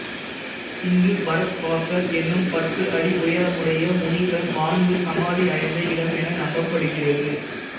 இங்கு பரத்வாசர் எனும் பத்து அடி உயரமுடைய முனிவர் வாழ்ந்து சமாதி அடைந்த இடம் என நம்பப்படுகிறது